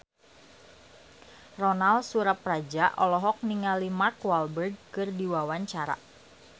Ronal Surapradja olohok ningali Mark Walberg keur diwawancara